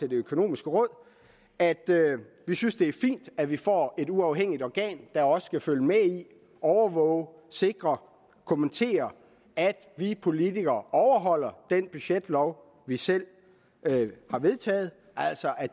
økonomiske råd at vi synes det er fint at vi får et uafhængigt organ der også kan følge med i overvåge sikre og kommentere at vi politikere overholder den budgetlov vi selv har vedtaget altså at